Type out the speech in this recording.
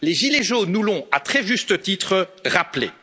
Les gilets jaunes nous l'ont, à très juste titre, rappelé.